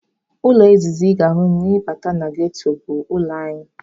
Ụlọ izizi ị ga-ahụ ma ị bata na ghetto bụ ụlọ anyị.